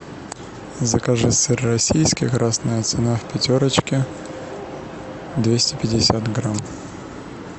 закажи сыр российский красная цена в пятерочке двести пятьдесят грамм